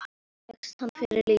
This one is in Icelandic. Og fékkst hana fyrir lítið!